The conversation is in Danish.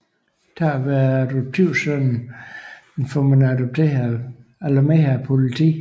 Takket være adoptivsønnen får man alarmeret politiet